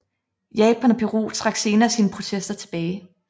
Japan og Peru trak senere sine protester tilbage